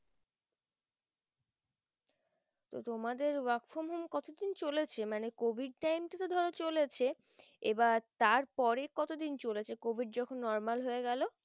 তো তোমাদের work from home কত দিন চলেছে মানে covidTime তা তো ধরো চলেছে এইবার তার পরে কত দিন চলেছে covid যখন normally হয়ে গেলো